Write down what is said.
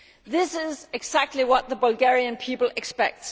This is exactly what the Bulgarian people expect.